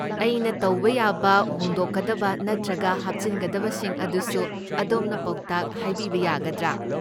ꯑꯩꯅ ꯇꯧꯕ ꯌꯥꯕ ꯍꯣꯡꯗꯣꯛꯀꯗꯕ ꯅꯠꯇ꯭ꯔꯒ ꯍꯥꯞꯆꯤꯟꯒꯗꯕꯁꯤꯡ ꯑꯗꯨꯁꯨ ꯑꯗꯣꯝꯅ ꯄꯥꯎꯇꯥꯛ ꯍꯥꯏꯕꯤꯕ ꯌꯥꯒꯗ꯭ꯔꯥ?